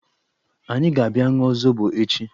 Anyị ga-abịa ṅụọ zobo echi.